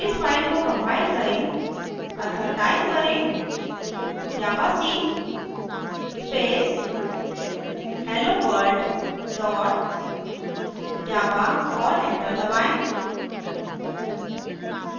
इस फ़ाइल को compile करें अतः type करें javac space helloworld dot java और enter दबाएँ